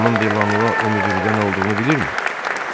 Xanım Dolanva o möcrüdə nə olduğunu bilirmi?